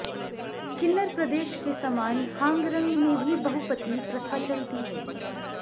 किन्नर प्रदेश के समान हांगरंग में भी बहुपति प्रथा चलती है